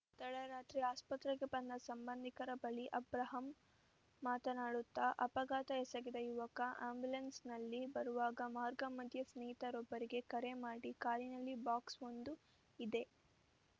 ತಡರಾತ್ರಿ ಆಸ್ಪತ್ರೆಗೆ ಬಂದ ಸಂಬಂಧಿಕರ ಬಳಿ ಅಬ್ರಾಹಂ ಮಾತನಾಡುತ್ತಾ ಅಪಘಾತ ಎಸಗಿದ ಯುವಕ ಆ್ಯಂಬುಲೆನ್ಸ್‌ನಲ್ಲಿ ಬರುವಾಗ ಮಾರ್ಗ ಮಧ್ಯೆ ಸ್ನೇಹಿತರೊಬ್ಬರಿಗೆ ಕರೆ ಮಾಡಿ ಕಾರಿನಲ್ಲಿ ಬಾಕ್ಸ್‌ವೊಂದು ಇದೆ